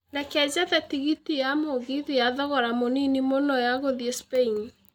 reke njethe tigiti ya mũgithi ya thogora mũnini mũno ya gũthiĩ Spain